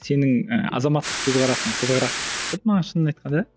сенің і азаматтық көзқарасың қызығырақ болды маған шынын айтқанда